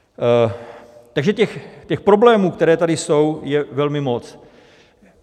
Takže těch problémů, které tady jsou, je velmi moc.